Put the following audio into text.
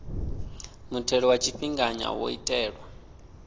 muthelo wa tshifhinganya wo itelwa